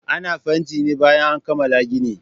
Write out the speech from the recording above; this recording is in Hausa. Ana fanti ne bayan an kammala gini